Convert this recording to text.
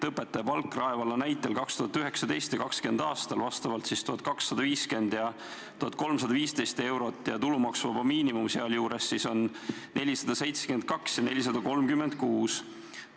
Õpetaja palk Rae vallas oli 2019. ja 2020. aastal vastavalt 1250 ja 1315 eurot ning tulumaksuvaba miinimum sealjuures 472 ja 436 eurot.